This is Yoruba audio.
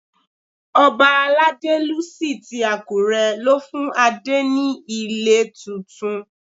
Ọba Aladelusi ti Àkúré ló fún Adé ní ilé tuntun.